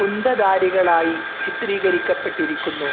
കുന്തധാരികളായി ചിത്രീകരിക്കപ്പെട്ടിരിക്കുന്നു.